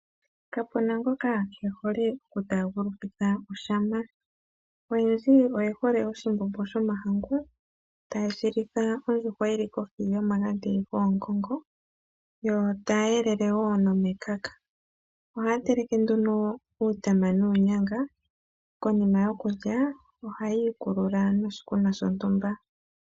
Kapu na ngoka kee hole okutaagulukitha oshama. Oyendji oye hole oshimbombo shomahangu taye shi litha ondjuhwa yi li kohi yomagadhi goongongo yo taya elele wo nomekaka. Ohaya teleke nduno uutama nuunyanga. Konima yokulya ohaya ikulula noshikunwa shontumba.